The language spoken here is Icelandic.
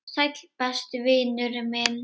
Sæll, besti vinur minn.